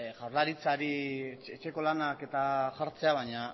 jaurlaritzari etxeko lanak eta jartzea baina